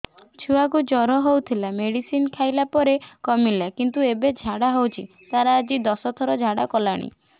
ଛୁଆ କୁ ଜର ହଉଥିଲା ମେଡିସିନ ଖାଇଲା ପରେ କମିଲା କିନ୍ତୁ ଏବେ ଝାଡା ହଉଚି ତାର ଆଜି ଦଶ ଥର ଝାଡା କଲାଣି